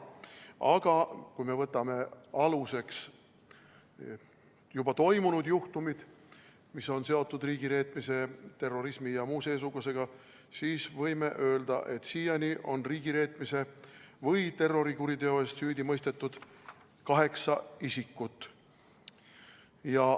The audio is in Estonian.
Aga kui me võtame aluseks juba toimunud juhtumid, mis on seotud riigireetmise, terrorismi ja muu seesugusega, siis võime öelda, et siiani on riigireetmise või terrorikuriteo eest süüdi mõistetud kaheksa isikut.